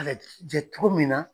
jɛ cogo min na.